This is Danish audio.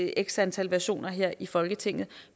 x antal versioner her i folketinget